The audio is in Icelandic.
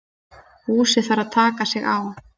Búsi þarf að taka sig á.